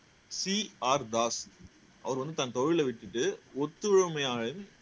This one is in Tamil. சீ ஆர் தாஸ் அவர் வந்து தன் தொழிலை விட்டுட்டு ஒத்துழைமையாக